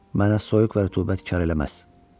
Mənə soyuq və rütubət kar eləməz.